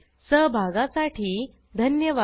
सहभागासाठी धन्यवाद